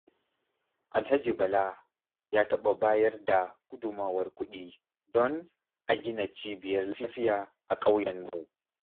Alhaji Bala ya taɓa bayar da gudummawar kuɗi don a gina cibiyar lafiya a ƙauyenmu.